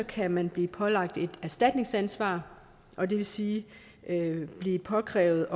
kan man blive pålagt et erstatningsansvar og det vil sige at blive påkrævet